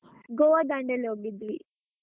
Goa, Dandeli ಹೋಗಿದ್ವಿ.